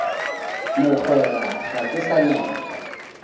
mogwera ga ke sa nyaka